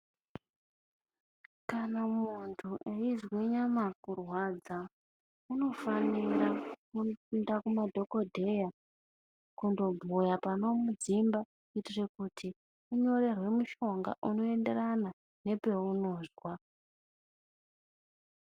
Kana muntu eyizwe nyama kurwadza, unofanira kuenda kumadhogodheya kundobhuya panomudzimba, kuitire kuti anyorerwe mushonga unoenderana nepeunozwa.